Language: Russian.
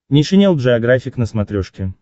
нейшенел джеографик на смотрешке